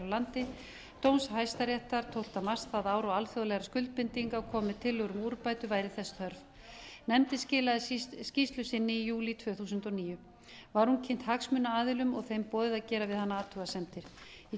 landi dóms hæstaréttar tólfta mars það ár og alþjóðlegra skuldbindinga komi tillögur um úrbætur væri þess þörf nefndin skilaði skýrslu sinni í júlí tvö þúsund og níu var hún kynnt hagsmunaaðilum og þeim boðið að gera við hana athugasemdir í